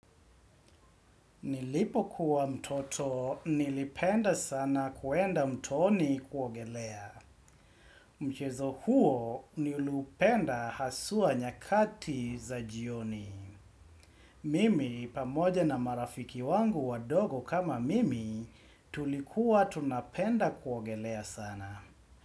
Nilipo kuwa mtoto, nilipenda sana kuenda mtoni kuogelea. Mchezo huo, niliupenda hasua nyakati za jioni. Mimi, pamoja na marafiki wangu wadogo kama mimi, tulikuwa tunapenda kuogelea sana.